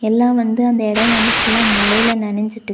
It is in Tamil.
எல்லா வந்து அந்த எடோ வந்து ஃபுல்லா மழைல நனஞ்சிட்டு.